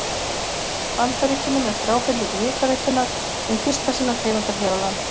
Bandaríkjunum eftir ábendingu Hitaveitunnar, hin fyrsta sinnar tegundar hér á landi.